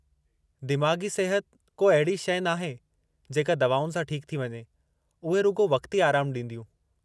दिमाग़ी सिहत को अहिड़ी शइ नाहे जेका दवाउनि सां ठीकु थी वञे, उहे रुॻो वक़्ती आराम ॾींदियूं।